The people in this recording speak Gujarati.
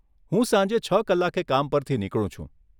હું સાંજે છ કલાકે કામ પરથી નીકળું છું.